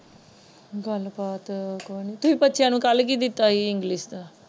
ਗੱਲ ਬਾਤ ਕੋਈ ਨਹੀਂ ਤੁਸੀ ਬੱਚਿਆਂ ਨੂੰ ਕੱਲ ਕਿ ਦਿਤਾ ਸੀ ਇੰਗਲਿਸ਼ ਦਾ?